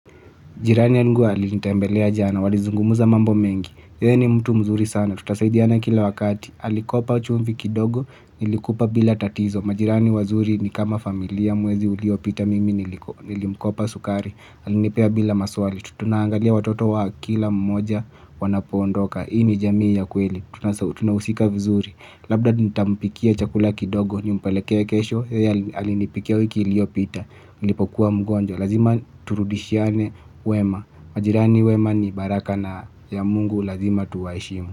Jirani yangu alinitembelea jana, walizungumza mambo mengi. Yeye ni mtu mzuri sana, tutasaidiana kila wakati. Alikopa chumvi kidogo nilikupa bila tatizo. Majirani wazuri ni kama familia, mwezi uliopita mimi nilimkopa sukari. Alinipea bila maswali, tunaangalia watoto wa kila mmoja wanapoondoka. Hii ni jamii ya kweli, tunahusika vizuri. Labda nitampikia chakula kidogo, nimpelekee kesho, yeye alinipikia wiki iliopita, nilipokuwa mgonjwa. Lazima turudishiane wema, majirani wema ni baraka na ya Mungu lazima tuwaheshimu.